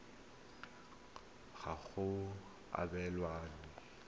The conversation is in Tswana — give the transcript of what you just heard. pedi morago ga go abelwa